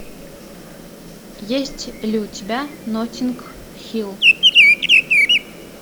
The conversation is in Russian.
есть ли у тебя ноттинг хилл